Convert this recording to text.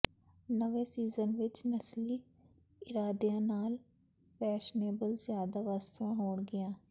ਨਵੇਂ ਸੀਜਨ ਵਿੱਚ ਨਸਲੀ ਇਰਾਦਿਆਂ ਨਾਲ ਫੈਸ਼ਨੇਬਲ ਜ਼ਿਆਦਾ ਵਸਤੂਆਂ ਹੋਣਗੀਆਂ